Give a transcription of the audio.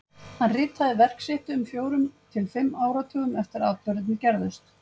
Hann ritaði verk sitt um fjórum til fimm áratugum eftir að atburðirnir gerðust.